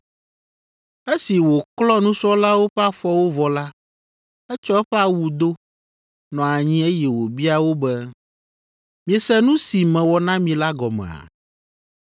Esi wòklɔ nusrɔ̃lawo ƒe afɔwo vɔ la, etsɔ eƒe awu do, nɔ anyi eye wòbia wo be, “Miese nu si mewɔ na mi la gɔmea?